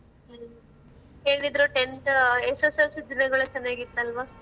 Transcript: ಹ್ಮ. ಹೇಗಿದ್ರೂ tenth SSLC ದಿನಗಳು ಚೆನ್ನಾಗಿತ್ತಲ್ವ?